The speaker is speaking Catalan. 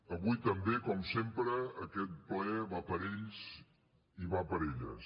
avui també com sempre aquest ple va per a ells i va per a elles